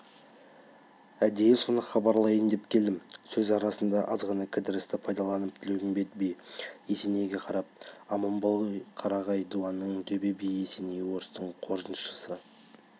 әдейі соны хабарлайын деп келдім сөз арасындағы аз ғана кідірісті пайдаланып тілеуімбет би есенейге қарап аман қарағай дуанының төбе биі есеней орыстың қоржыншысы